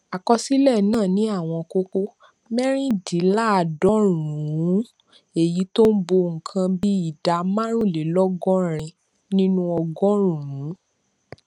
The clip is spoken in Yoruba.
àkọsílẹ náà ní àwọn kókó mérìndínláàádọrùnún èyí tó ń bo nǹkan bí ìdá márùnlélógórin nínú ọgọrùnún